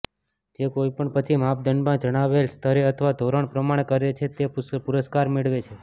જે કોઈપણ પછી માપદંડમાં જણાવેલા સ્તરે અથવા ધોરણ પ્રમાણે કરે છે તે પુરસ્કાર મેળવે છે